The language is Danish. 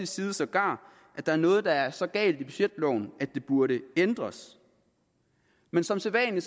side sågar at der er noget der er så galt at det burde ændres men som sædvanlig